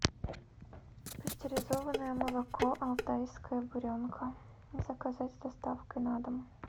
пастеризованное молоко алтайская буренка заказать с доставкой на дом